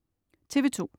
TV2: